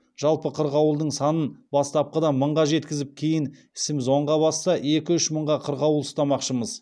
жалпы қырғауылдың санын бастапқыда мыңға жеткізіп кейін ісіміз оңға басса екі үш мың қырғауыл ұстамақшымын